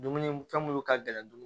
Dumuni fɛn munnu ka gɛlɛn dun